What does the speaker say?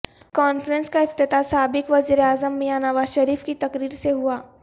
conference کا افتتاح سابق وزیراعظم میاں نواز شریف کی تقریر سے ہوا